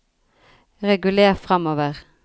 reguler framover